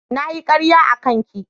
Na yi karya a kan ki.